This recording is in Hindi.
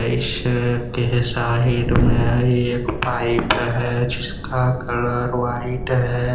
इसके साइड में एक पाइप है जिसका कलर व्हाइट है।